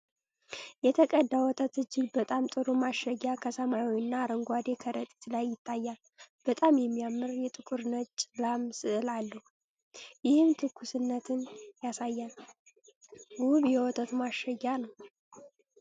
የተቀዳ ወተት እጅግ በጣም ጥሩ ማሸጊያ ከሰማያዊና አረንጓዴ ከረጢት ላይ ይታያል። በጣም የሚያምር የጥቁርና ነጭ ላም ስዕል አለው፤ ይህም ትኩስነትን ያሳያል። ውብ የወተት ማሸጊያ ነው።